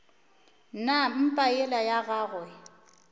na mpa yela ya gagwe